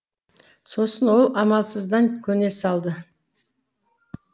сосын ол амалсыздан көне салды